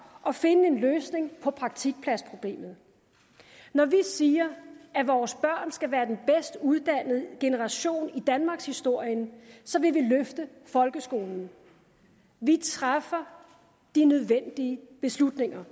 og finde en løsning på praktikpladsproblemet når vi siger at vores børn skal være den bedst uddannede generation i danmarkshistorien så vil vi løfte folkeskolen vi træffer de nødvendige beslutninger